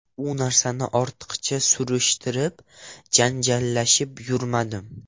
U narsani ortiqcha surishtirib, janjallashib yurmadim.